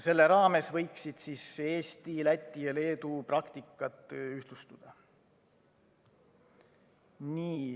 Selle raames võiksid Eesti, Läti ja Leedu praktikat ühtlustada.